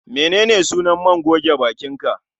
Menene sunan man goge bakin ka?